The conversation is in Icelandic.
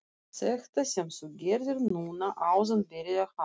Þetta sem þú gerðir núna áðan byrjaði hann.